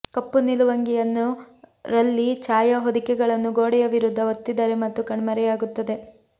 ಕಪ್ಪು ನಿಲುವಂಗಿಯನ್ನು ರಲ್ಲಿ ಛಾಯಾ ಹೊದಿಕೆಗಳನ್ನು ಗೋಡೆಯ ವಿರುದ್ಧ ಒತ್ತಿದರೆ ಮತ್ತು ಕಣ್ಮರೆಯಾಗುತ್ತದೆ